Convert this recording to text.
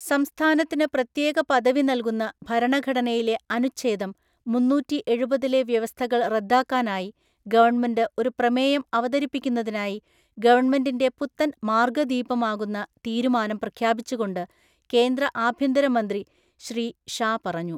സംസ്ഥാനത്തിന് പ്രത്യേക പദവി നല്കുന്ന ഭരണഘടനയിലെ അനുഛേദം മുന്നൂറ്റിഎഴുപതിലെ വ്യവസ്ഥകള്‍ റദ്ദാക്കാനായി ഗവണ്മെന്റ് ഒരു പ്രമേയം അവതരിപ്പിക്കുന്നതായി ഗവണ്മെന്റിന്റെ പുത്തന്‍ മാര്‍ഗ്ഗദീപമാകുന്ന തീരുമാനം പ്രഖ്യാപിച്ചുകൊണ്ട് കേന്ദ്ര ആഭ്യന്തര മന്ത്രി ശ്രീ ഷാ പറഞ്ഞു.